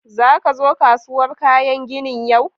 Za ka zo kasuwar kayan ginin yau?